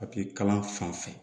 kalan fan fɛ